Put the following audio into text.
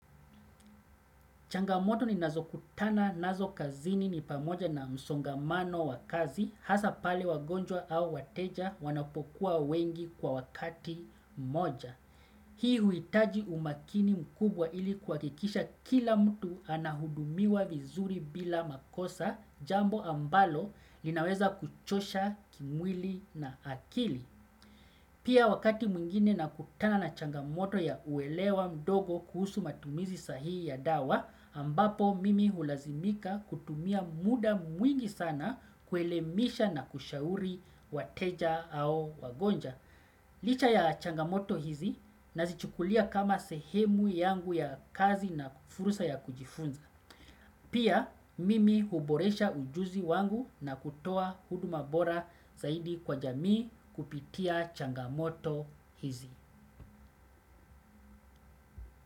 Changamoto ninazo kutana nazo kazini ni pamoja na msongamano wa kazi, hasa pale wagonjwa au wateja wanapokuwa wengi kwa wakati mmoja. Hii huitaji umakini mkubwa ili kuwakikisha kila mtu anahudumiwa vizuri bila makosa jambo ambalo linaweza kuchosha kimwili na akili. Pia wakati mwingine nakutana na changamoto ya uelewa mdogo kuhusu matumizi sahihi ya dawa, ambapo mimi hulazimika kutumia muda mwingi sana kuelemisha na kushauri wateja au wagonjwa. Licha ya changamoto hizi nazichukulia kama sehemu yangu ya kazi na fursa ya kujifunza. Pia mimi huboresha ujuzi wangu na kutoa huduma bora zaidi kwa jamii kupitia changamoto hizi.